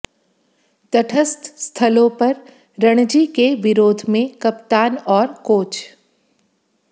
तटस्थ स्थलों पर रणजी के विरोध में कप्तान और कोच